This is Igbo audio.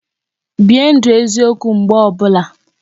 Bie ndụ eziokwu mgbe ọbụla